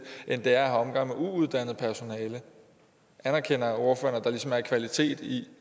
end det er at have omgang med uuddannet personale anerkender ordføreren at der ligesom er en kvalitet i